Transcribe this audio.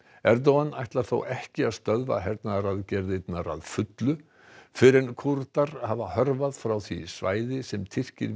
Erdogan ætlar þó ekki að stöðva hernaðaraðgerðirnar alveg fyrr en Kúrdar hafa hörfað frá því svæði sem Tyrkir